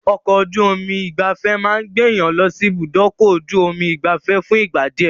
Ọkọ̀-ojú omi ìgbafẹ́ máa gbé èèyàn lọsí ibùdókọ̀-ju-omi ìgbafé fún ìgbà díẹ̀.